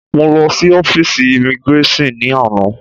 Mọ lọ sí ọ́físì imigráṣọ̀n ni àná.